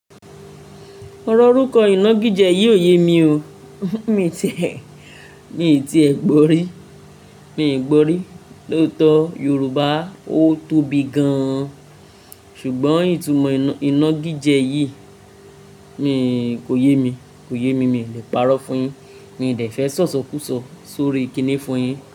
Ọrọ ọrúkọ iná gijẹ yìí ò yé mi o. Mi tí ẹ, mi tii ẹ gbọ rí, mi i gbọ rí. Lóòtọ́ Yorùbá ó tóbi gan an ṣùgbọ́n ìtumọ iná, iná gijẹ yìí, mi kò yé mi, kò yé mi. Mi ò le pàrọ̀ fún yín. Mi ò lè fẹ́ sọ̀sọkúsọ sórí i kíni fún yín.